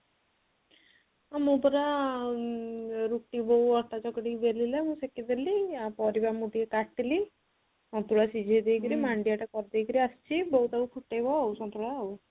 ମୁଁ ପରା ଆଁ ରୁଟି ବୋଉ ଅଟା ଚକଟିକି ବେଲିଲା ମୁଁ ସେକିଦେଲି ପାରିବ ମୁଁ ଟିକେ କାଟିଲି ସନ୍ତୁଳା ଶିଝେଇ ଦେଇକିରି ମାଣ୍ଡିଆ ଟା କରିଦେଇକି ଆସିଛି ବୋଉ ଫୁଟେଇବା ଆଉ ସନ୍ତୁଳା ଆଉ